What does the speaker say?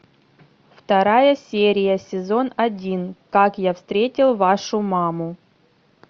вторая серия сезон один как я встретил вашу маму